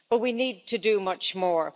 But we need to do much more.